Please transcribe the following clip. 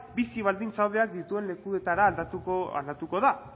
bizi baldintza hobeak dituen lekuetara aldatuko da